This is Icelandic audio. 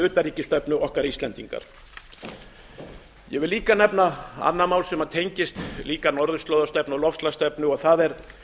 utanríkisstefnu okkar íslendinga ég vil nefna annað mál sem tengist líka norðurslóðastefnu og loftslagsstefnu og það er